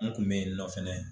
Ne kun be yen nɔ fɛnɛ.